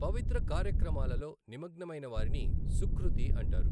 పవిత్ర కార్యక్రమాలలో నిమగ్నమైన వారిని సుఖృతి అంటారు.